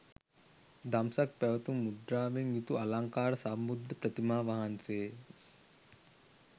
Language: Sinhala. දම්සක් පැවැතුම් මුද්‍රාවෙන් යුතු අලංකාර සම්බුද්ධ ප්‍රතිමා වහන්සේ ය